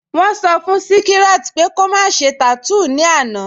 Wọ́n sọ́ fún Śíkíràt pẹ̀ kò má ṣè tátúún ni ọ̀là